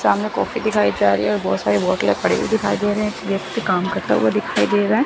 सामने कॉफी दिखाई जा रही और बहोत सारी बोट यहां खड़ी हुई दे रही व्यक्ति काम करता हुआ दिखाई दे रहा है।